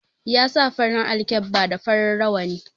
Ya sa farin alkkeba da farin rawani